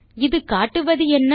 இது காட்டுவது என்ன